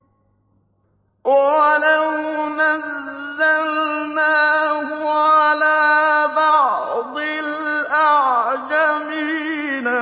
وَلَوْ نَزَّلْنَاهُ عَلَىٰ بَعْضِ الْأَعْجَمِينَ